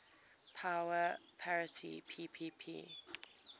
power parity ppp